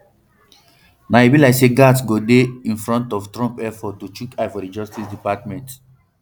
now e be like say gaetz go dey in front of trump efforts to chook eye for di justice department